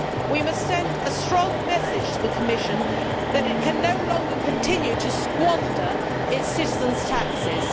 We must send a strong message to the Commission that it can no longer continue to squander its citizens' taxes.